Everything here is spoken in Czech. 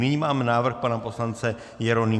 Nyní máme návrh pana poslance Jeronýma